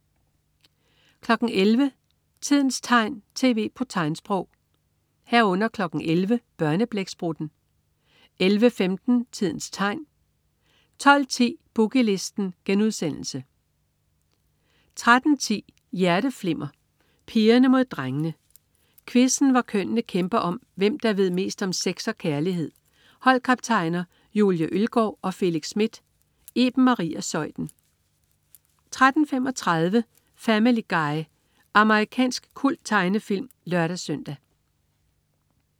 11.00 Tidens tegn, tv på tegnsprog 11.00 Børneblæksprutten 11.15 Tidens tegn 12.10 Boogie Listen* 13.10 Hjerteflimmer: Pigerne mod drengene. Quizzen hvor kønnene kæmper om, hvem der ved mest om sex og kærlighed. Holdkaptajner: Julie Ølgaard og Felix Smith. Iben Maria Zeuthen 13.35 Family Guy. Amerikansk kulttegnefilm (lør-søn)